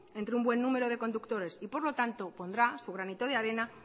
entre un buen número de conductores y por lo tanto pondrá su granito de arena